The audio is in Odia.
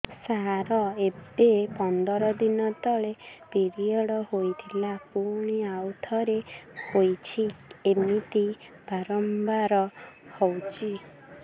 ସାର ଏବେ ପନ୍ଦର ଦିନ ତଳେ ପିରିଅଡ଼ ହୋଇଥିଲା ପୁଣି ଆଉଥରେ ହୋଇଛି ଏମିତି ବାରମ୍ବାର ହଉଛି